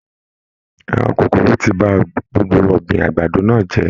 Àwọn kòkòrò tí bá gbogbo ọgbin àgbàdo náà jẹ.